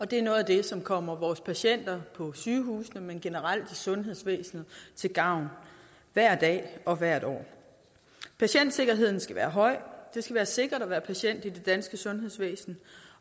det er noget af det som kommer vores patienter på sygehusene men også generelt i sundhedsvæsenet til gavn hver dag og hvert år patientsikkerheden skal være høj det skal være sikkert at være patient i det danske sundhedsvæsen